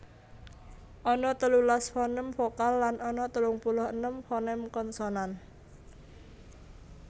Ana telulas foném vokal lan ana telung puluh enem foném konsonan